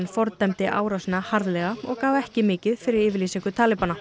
fordæmdi árásina harðlega og gaf ekki mikið fyrir yfirlýsingu